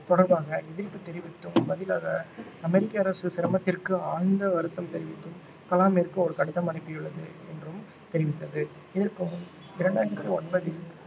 தொடர்பாக எதிர்ப்பு தெரிவித்தும் பதிலாக அமெரிக்க அரசு சிரமத்திற்கு ஆழ்ந்த வருத்தம் தெரிவித்து கலாமிற்கு ஒரு கடிதம் அனுப்பியுள்ளது என்றும் தெரிவித்திருந்தது இதற்கு முன் இரண்டாயிரத்து ஒன்பதில்